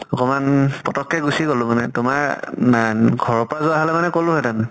কমান পতক কে গুছি গলো মানে তোমাৰ নান ঘৰৰ পৰা যোৱা হলে কলো হেতেন